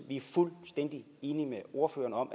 vi er fuldstændig enig med ordføreren om